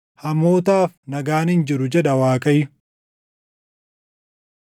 “Hamootaaf nagaan hin jiru” jedha Waaqayyo.